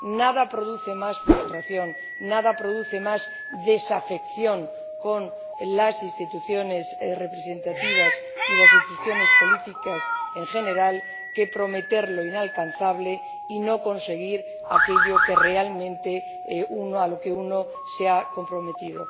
Nada produce más frustración, nada produce más desafección hacia las instituciones representativas y las instituciones políticas en general que prometer lo inalcanzable y no conseguir aquello a lo que realmente uno se ha comprometido.